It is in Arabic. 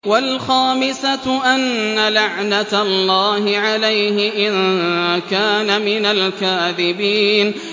وَالْخَامِسَةُ أَنَّ لَعْنَتَ اللَّهِ عَلَيْهِ إِن كَانَ مِنَ الْكَاذِبِينَ